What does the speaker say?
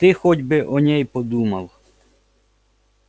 ты хоть бы о ней подумал